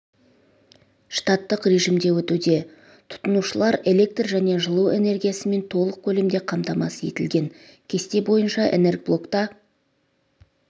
штаттық режимде өтуде тұтынушылар электр және жылу энергиясымен толық көлемде қамтамасыз етілген кесте бойынша энергоблокта